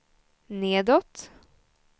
nedåt